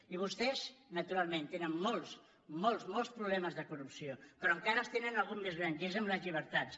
i vostès naturalment tenen molts molts molts problemes de corrupció però encara en tenen algun de més gran i és amb les llibertats